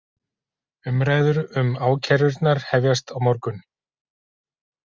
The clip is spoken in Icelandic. Umræður um ákærurnar hefjast á morgun